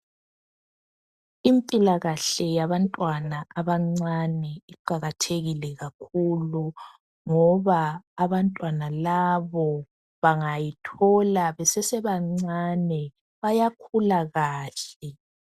Impilakahle yabantwana abancane iqakathekile kakhulu ngoba abantwana labo bangayithola besesebancane bayakhula kahle.